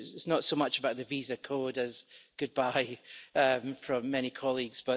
It was not so much about the Visa Code as goodbye from many colleagues.